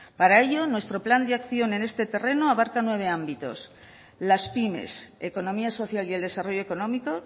para ello nuestro plan de acción en este terreno abarca nueve ámbitos las pymes economía social y el desarrollo económico